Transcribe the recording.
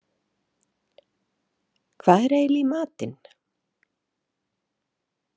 Hvað er eiginlega í matinn?